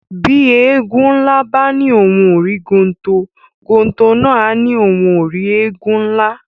Bí Éégun nlá bá ní ohùn o rí gontò, gontò nà a ní ohùn o rí Éégun nlá